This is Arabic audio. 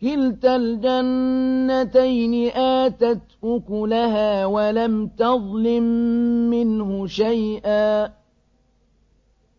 كِلْتَا الْجَنَّتَيْنِ آتَتْ أُكُلَهَا وَلَمْ تَظْلِم مِّنْهُ شَيْئًا ۚ